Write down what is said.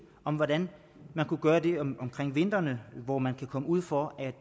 om hvordan man kunne gøre det om vinteren hvor man kan komme ud for at